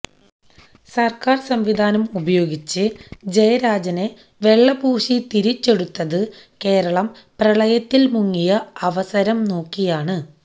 സര്ക്കാര് സംവിധാനം ഉപയോഗിച്ച് ജയരാജനെ വെള്ളപൂശി തിരിച്ചെടുത്തത് കേരളം പ്രളയത്തില് മുങ്ങിയ അവസരം നോക്കിയാണ്